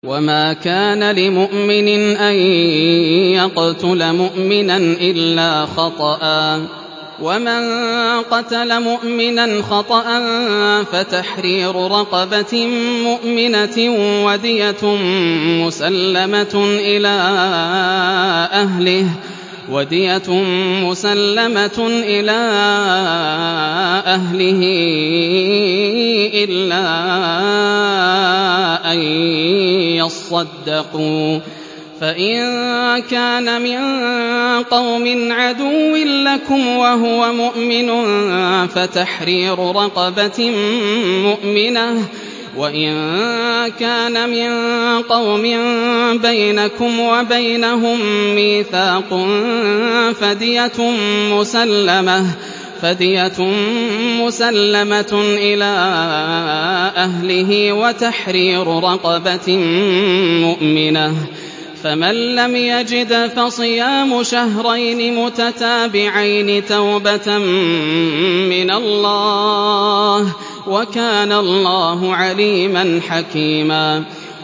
وَمَا كَانَ لِمُؤْمِنٍ أَن يَقْتُلَ مُؤْمِنًا إِلَّا خَطَأً ۚ وَمَن قَتَلَ مُؤْمِنًا خَطَأً فَتَحْرِيرُ رَقَبَةٍ مُّؤْمِنَةٍ وَدِيَةٌ مُّسَلَّمَةٌ إِلَىٰ أَهْلِهِ إِلَّا أَن يَصَّدَّقُوا ۚ فَإِن كَانَ مِن قَوْمٍ عَدُوٍّ لَّكُمْ وَهُوَ مُؤْمِنٌ فَتَحْرِيرُ رَقَبَةٍ مُّؤْمِنَةٍ ۖ وَإِن كَانَ مِن قَوْمٍ بَيْنَكُمْ وَبَيْنَهُم مِّيثَاقٌ فَدِيَةٌ مُّسَلَّمَةٌ إِلَىٰ أَهْلِهِ وَتَحْرِيرُ رَقَبَةٍ مُّؤْمِنَةٍ ۖ فَمَن لَّمْ يَجِدْ فَصِيَامُ شَهْرَيْنِ مُتَتَابِعَيْنِ تَوْبَةً مِّنَ اللَّهِ ۗ وَكَانَ اللَّهُ عَلِيمًا حَكِيمًا